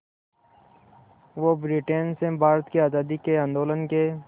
वो ब्रिटेन से भारत की आज़ादी के आंदोलन के